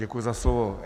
Děkuji za slovo.